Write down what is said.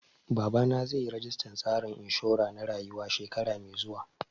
Babana zai yi registan tsarin inshura na rayuwa shekara mai zuwa